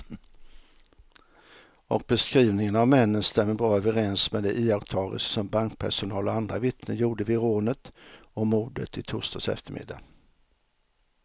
Och beskrivningen av männen stämmer bra överens med de iakttagelser som bankpersonal och andra vittnen gjorde vid rånet och mordet i torsdags eftermiddag.